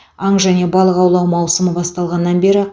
аң және балық аулау маусымы басталғаннан бері